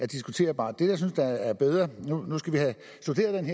diskuteres nu skal vi have studeret